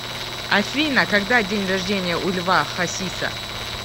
афина когда день рождения у льва хасиса